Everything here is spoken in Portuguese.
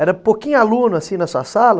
Era pouquinho aluno assim nessa sala?